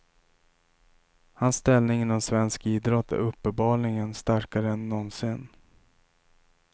Hans ställning inom svensk idrott är uppenbarligen starkare än någonsin.